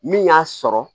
Min y'a sɔrɔ